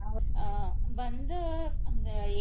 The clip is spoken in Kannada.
ಹ್ಮ್ ಬಂದು ಆಹ್ ಅಂದ್ರ.